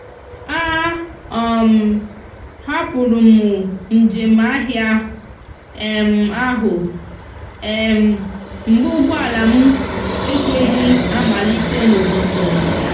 a um hapụrụ m njem ahịa um ahụ um mgbe ụgbọala m ekweghị amalite n'ụtụtụ.